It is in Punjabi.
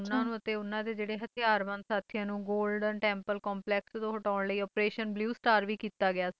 ਤੇ ਉਨ੍ਹਾਂ ਨੂੰ ਤੇ ਉਨ੍ਹਾਂ ਦੇ ਜਿਹੜੇ ਹਥਿਆਰ ਬੰਦ ਸਾਥੀਆਂ ਨੂੰ ਗੋਲਡਨ ਟੈਮਪਲ ਕੰਪਲੈਕਸ ਤੋਂ ਹਟਾਉਣ ਦੇ ਲਈ ਓਪਰੇਸ਼ਨ ਬਲਿਊ ਸਟਾਰ ਵੀ ਕੀਤਾ ਗਿਆ ਸੀਗਾ